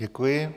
Děkuji.